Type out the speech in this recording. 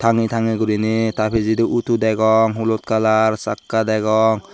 tange tange guriney ta pijedi auto degong olut colour sakka degong.